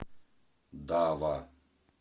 дава